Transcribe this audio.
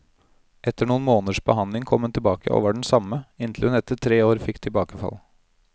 Etter noen måneders behandling kom hun tilbake, og var den samme, inntil hun etter tre år fikk tilbakefall.